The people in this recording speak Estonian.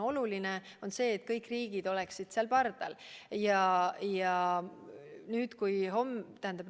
Oluline on muidugi see, et kõik riigid oleksid seal n-ö pardal.